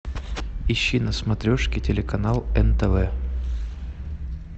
ищи на смотрешке телеканал нтв